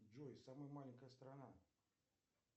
джой самая маленькая страна